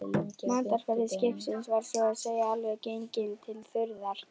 Matarforði skipsins var svo að segja alveg genginn til þurrðar.